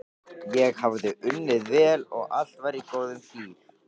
Ég hafði unnið vel og allt var í góðum gír.